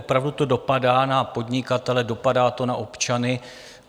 Opravdu to dopadá na podnikatele, dopadá to na občany.